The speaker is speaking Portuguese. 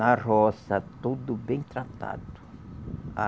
Na roça, tudo bem tratado.